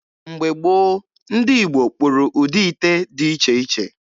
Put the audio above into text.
Mgbe gboo, ndị Igbo kpụrụ ụdị ite dị iche iche.